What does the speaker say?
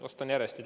Vastan järjest.